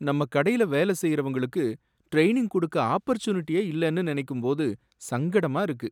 நம்ம கடையில வேலை செய்றவங்களுக்கு டிரெய்னிங் கொடுக்க ஆஃபர்சூனிட்டியே இல்லன்னு நினைக்கும்போது சங்கடமா இருக்கு.